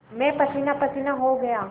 मैं पसीनापसीना हो गया